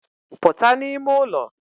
Puta n'ime ụlọ